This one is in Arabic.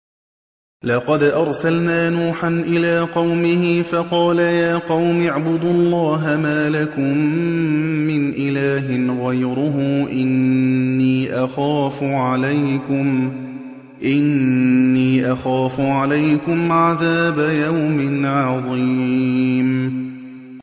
لَقَدْ أَرْسَلْنَا نُوحًا إِلَىٰ قَوْمِهِ فَقَالَ يَا قَوْمِ اعْبُدُوا اللَّهَ مَا لَكُم مِّنْ إِلَٰهٍ غَيْرُهُ إِنِّي أَخَافُ عَلَيْكُمْ عَذَابَ يَوْمٍ عَظِيمٍ